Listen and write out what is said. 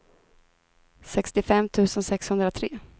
sextiofem tusen sexhundratre